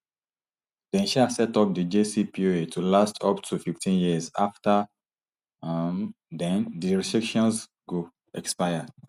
dem um set up di jcpoa to last up to fifteen years afta um den di restrictions go expire